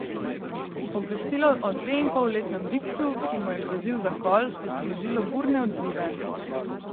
Obvestilo o dveinpolletnem bikcu, ki mu je grozil zakol, je sprožilo burne odzive.